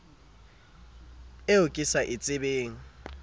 eo ke sa e tsebeng